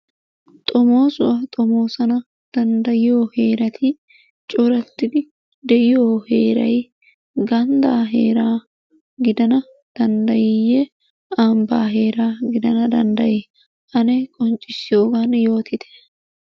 Xommoosuwa xommoossana danddayiyo heerati coratidi de'iyo heeray gandaa heeraa gidana danddayiyyiyee ambaa heeraa gidana danddayi ane qonccissiyogan yoottite.